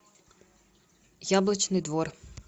яблочный двор